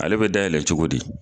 Ale be dayɛlɛ cogo di